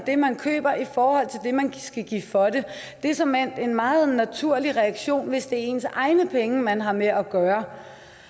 det man køber i forhold til det man skal give for det det er såmænd en meget naturlig reaktion hvis det er ens egne penge man har med at gøre